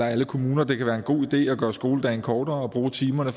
alle kommuner det kan være en god idé at gøre skoledagen kortere og bruge timerne